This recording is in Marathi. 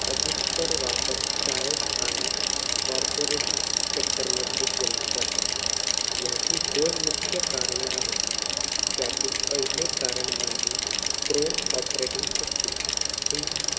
अधिकतर वापर शाळेत आणि corporate sector मध्ये केला जातो. याची दोन मुख्य कारणेआहेत. त्यातील पहिले कारण म्हणजे chrome operating system हि,